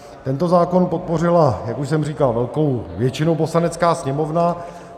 Tento zákon podpořila, jak už jsem říkal, velkou většinou Poslanecká sněmovna.